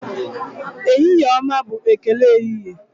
Ehihie ọma bụ ekele ehihie.